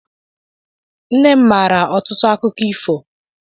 Nne m maara ọtụtụ akụkọ ifo.